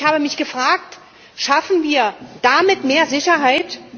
Ich habe mich gefragt Schaffen wir damit mehr Sicherheit?